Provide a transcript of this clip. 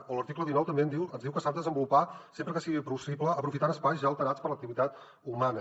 a l’article dinou també ens diu que s’ha de desenvolupar sempre que sigui possible aprofitant espais ja alterats per l’activitat humana